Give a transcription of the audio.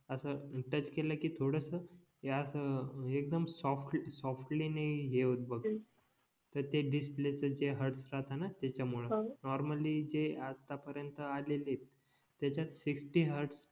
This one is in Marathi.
असं टच केला कि थोडंस हे असं एक्दम सॉफ्ट सॉफ्टली नि हे होत बघ तर ते डिस्प्ले चे जे हेर्ड्स राहत ना त्याच्या मुळे नॉर्मली जे आता पर्यंत आलेले त्याच्यात सिक्सटी हॅर्डस